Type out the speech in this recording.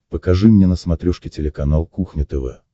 покажи мне на смотрешке телеканал кухня тв